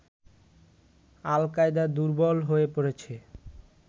আল Qaeda দুর্বল হয়ে পড়েছে